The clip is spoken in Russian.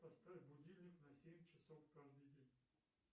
поставь будильник на семь часов каждый день